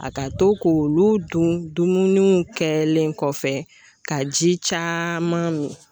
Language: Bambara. A ka to k'olu dun dumunuw kɛlen kɔfɛ ka ji caaman mi